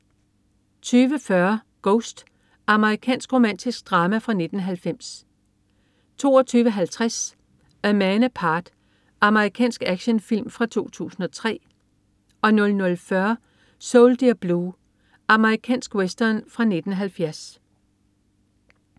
20.40 Ghost. Amerikansk romantisk drama fra 1990 22.50 A Man Apart. Amerikansk actionfilm fra 2003 00.40 Soldier Blue. Amerikansk western fra 1970